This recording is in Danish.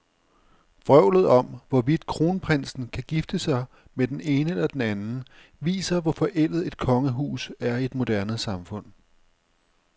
Vrøvlet om, hvorvidt kronprinsen kan gifte sig med den ene eller den anden, viser, hvor forældet et kongehus er i et moderne samfund.